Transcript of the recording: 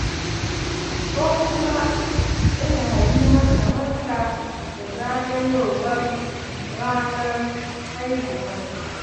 Ko kuma ina yi maka barka da zagayowar ranar haihuwarka.